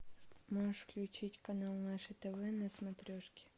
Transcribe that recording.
можешь включить канал наше тв на смотрешке